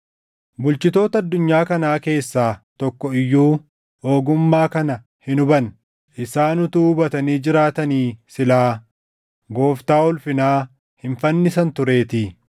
Bulchitoota addunyaa kanaa keessaa tokko iyyuu ogummaa kana hin hubanne; isaan utuu hubatanii jiraatanii silaa Gooftaa ulfinaa hin fannisan tureetii.